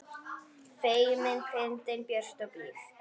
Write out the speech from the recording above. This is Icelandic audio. Feimin, fyndin, björt og blíð.